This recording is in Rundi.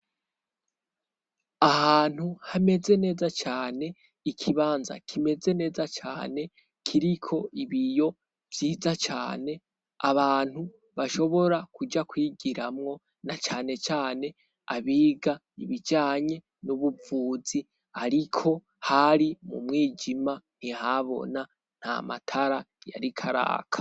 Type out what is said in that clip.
Ahantu hameze neza cane ikibanza kimeze neza cane kiriko ibiyo vyiza cane abantu bashobora kuja kwigiramwo na canecane abiga ibijanye n'ubuvuzi, ariko hari mu mwija jima ntihabona nta matara yarikaraka.